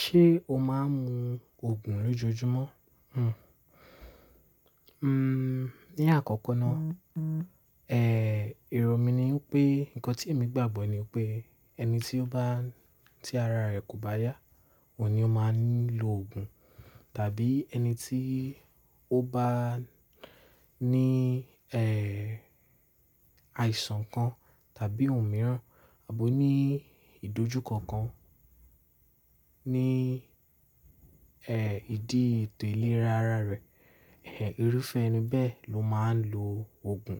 Ṣé o máa ń mu òògùn lójoojúmọ́? Hmm, ní àkọ́kọ́ ná, ẹ́, èrò mí ní pé, ǹkan tí èmi gbàgbọ́ ní pé ẹni tí ó bá, tí ara rẹ̀ kò bá yá, òun ni ó máa ní lọ òògùn. Tàbí ẹni tí ó bá ní, ẹ́, àìsàn kan tàbí ohun mìíràn, àbo ní ìdojúkọ kan ní, ẹ́, ìdí ètò ìlera ara rẹ̀, ẹ́, irúfẹ́ ẹni bẹ́ẹ̀ ló máa ń lo òògùn.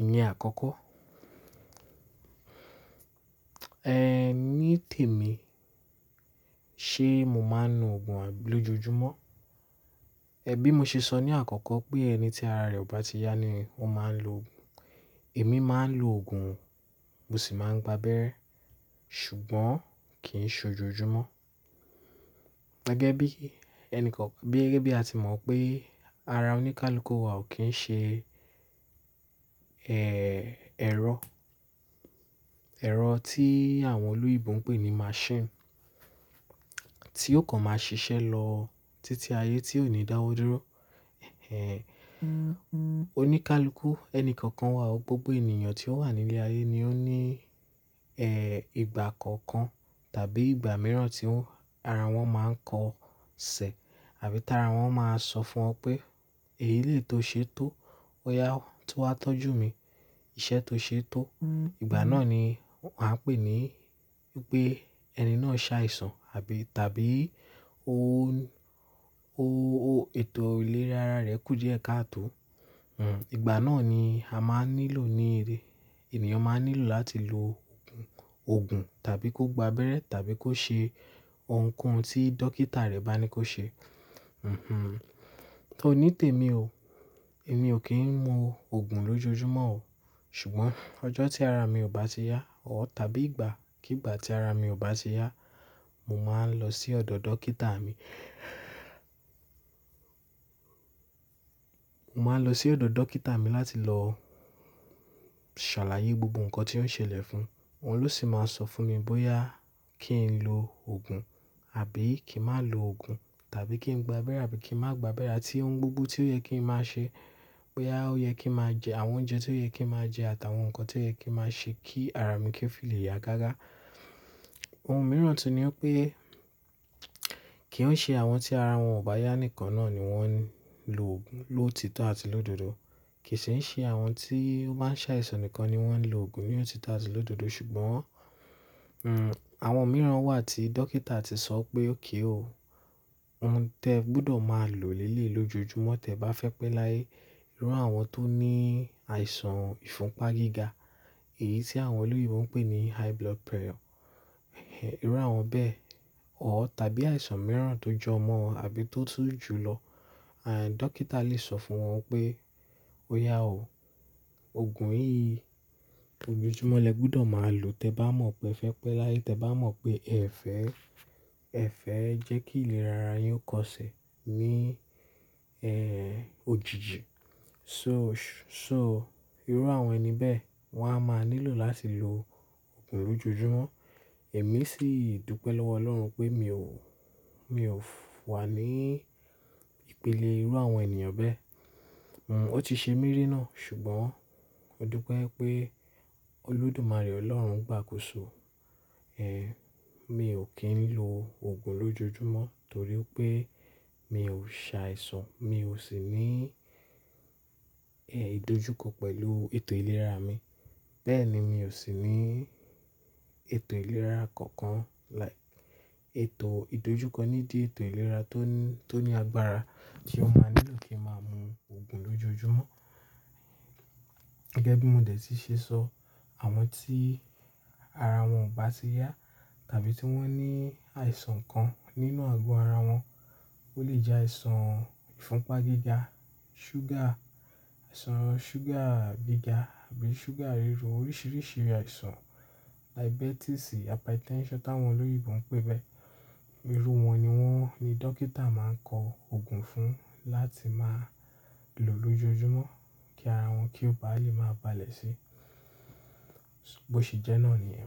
Ìyen àkọ́kọ́. Ẹ́, ní tèmi, ṣe mo máa ń lo òògùn lójoojúmọ́? Ẹ̀ bí mo ṣe sọ ní àkọ́kọ́ pé ẹni tí ara rẹ̀ ò bá ti yá ni ó máa ń lo òògùn. Èmi máa ń lo òògùn, mo sì máa ń gbábẹ́rẹ́, ṣùgbọ́n kì í ṣe lójoojúmọ́. Gẹ́gẹ́ bí ẹni kan, gẹ́gẹ́ bí a ti mọ̀ pé ara oníkálukú wa ò kí ń ṣe, ẹ́, ẹ̀rọ, ẹ̀rọ tí àwọn oloyinbọn ń pè ní machine, tí ó kàn máa ṣiṣẹ́ lọ títí ayé tí ò ní dáwọ́ dúró. Ẹ̀ẹ́, oníkálukú ẹni kankan wa o, gbogbo ènìyàn tí ó wà nílé ayé ni ó ní, ẹ́, ìgbà kọ̀ọ̀kan tàbí ìgbà mìíràn tí ara wọn máa ń kọ ṣẹ̀, àbí tára wọn máa sọ fún ọ pé èyí lè tó ṣe tó, ó yá tó wá tọ́jú mi, iṣẹ́ tó ṣe tó. Ìgbà náà ni a ń pè ní pé ẹni náà ṣàìsàn, àbí tàbí ó, o, o ètò ìlera ara rẹ̀ kú jẹ́ káàtò. Hmm, ìgbà náà ni a máa ń nílò ní, ènìyàn máa ń nílò láti lo òògùn tàbí kó gbábẹ́rẹ́ tàbí kó ṣe ohunkóhun tí dókítà rẹ̀ bá ní kó ṣe. Hmm-hmm. Tó ní tèmi o, èmi ò kí ń mu òògùn lójoojúmọ́ o. Ṣùgbọ́n ọjọ́ tí ara mi ò bá ti yá o tàbí ìgbà kí ìgbà tí ara mi ò bá ti yá, mo máa ń lọ sí ọ̀dọ̀ dókítà mi. Mo máa ń lọ sí ọ̀dọ̀ dókítà mi láti lọ ṣàlàyé gbogbo ǹkan tí ó ń ṣẹlẹ̀ fún. Òun ló sì máa sọ fún mi bóyá kí n lo òògùn àbí kí má lo òògùn tàbí kí n gbábẹ́rẹ́ àbí kí má gbábẹ́rẹ́ àti ohun gbogbo tí ó yẹ kí n má ṣe, bóyá ó yẹ kí n má jẹ àwọn oúnjẹ tí ó yẹ kí n má jẹ àti àwọn ǹkan tí ó yẹ kí n má ṣe kí ara mi kí fi lè yá gágá. Ohun mìíràn tí ní pé kì ń ṣe àwọn tí ara wọn ò bá yá nìkan náà ni wọ́n ń lo òògùn ló títọ́ àti ló dòdò. Kì í ṣe àwọn tí ó bá ń ṣàìsàn nìkan ni wọ́n ń lo òògùn ní òtítọ́ àti ló dòdò. Ṣùgbọ́n, hmm, àwọn mìíràn wà tí dókítà ti sọ pé ókay o, òun tẹ gbọdọ̀ máa lò ni eleyi lójoojúmọ́ tẹ bá fẹ́ pé láyé. Irú àwọn tó ní àìsàn ìfúnpá gíga, èyí tí àwọn olúìbọn ń pè ní high blood pressure. Ẹ̀ẹ́, irú àwọn bẹ́ẹ̀ o tàbí àìsàn mìíràn tó jọ mọ́ wọn àbí tó tú jùlọ. And, dókítà lè sọ fún wọn pé óyá o, òògùn yìí lójoojúmọ́ lè gbọdọ̀ máa lò tẹ bá mọ̀ pé ẹ fẹ́ pé láyé, tẹ bá mọ̀ pé ẹ̀fẹ̀, ẹ̀fẹ̀ jẹ́ kí ìlera ara yín ó kọ ṣẹ̀ ní, ẹ́, òjijì. So, so irú àwọn ẹni bẹ́ẹ̀ wọ́n á máa nílò láti lo òògùn lójoojúmọ́. Èmi sì dùpẹ́ lọ́wọ́ Ọlọ́run pé mi ò, mi ò wà ní ìpele irú àwọn ènìyàn bẹ́ẹ̀. Hmm, ó ti ṣe mí rírìn náà, ṣùgbọ́n mo dúpẹ́ pé Olódùmarè Ọlọ́run gbà ákóso. Ẹ̀ẹ́, mi ò kí ń lo òògùn lójoojúmọ́ torí pé mi ò ṣàìsàn, mi ò sì ní, ẹ́, ìdojúkọ pẹ̀lú ètò ìlera mi. Bẹ́ẹ̀ ni mi ò sì ní ètò ìlera kankan like ètò ìdojúkọ níbí ètò ìlera tó ní, tó ní agbára tí ó máa nílò kí n máa mu òògùn lójoojúmọ́. Gẹ́gẹ́ bí mo dẹ̀ ti ṣe sọ, àwọn tí ara wọn ò bá ti yá tàbí tí wọ́n ní àìsàn kan nínú àgọ́ ara wọn, ó lè jẹ́ àìsàn ìfúnpá gíga, sugar, àìsàn sugar gíga àbí sugar rírú, oríṣìíríṣìí àìsàn diabetes àbí tension tí àwọn olúìbọn ń pè bẹ́ẹ̀. Irú wọn ni wọ́n, ni dókítà máa ń kọ òògùn fún láti máa lò lójoojúmọ́ kí ara wọn kí ó bá lè máa balẹ̀ sí. Ó ṣe jẹ́ náà ni ẹ.